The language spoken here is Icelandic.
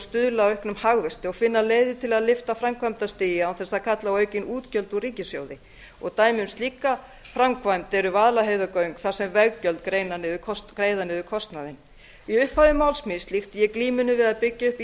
stuðla að auknum hagvexti og finna leiðir til að lyfta framkvæmdastigi án þess að kalla á aukin útgjöld úr ríkissjóði dæmi um slíka framkvæmd eru vaðlaheiðargjöld þar sem veggjöld greiða niður kostnaðinn í upphafi máls míns líkti ég glímunni við að byggja upp